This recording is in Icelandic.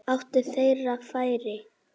Áttu þeir færi?